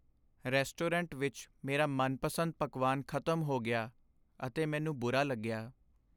Restaurant ਵਿੱਚ ਮੇਰਾ ਮਨਪਸੰਦ ਪਕਵਾਨ ਖ਼ਤਮ ਹੋ ਗਿਆ ਅਤੇ ਮੈਨੂੰ ਬੁਰਾ ਲੱਗਿਆ ।